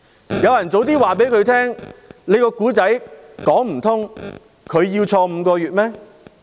如果有人早些告訴他，他的故事說不通，他要入獄5個月嗎？